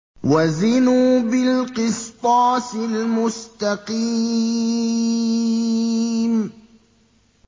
وَزِنُوا بِالْقِسْطَاسِ الْمُسْتَقِيمِ